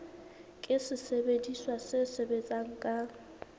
ke sesebediswa se sebetsang ka